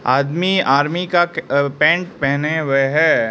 आदमी आर्मी का कि अ पैंट पहने हुए है।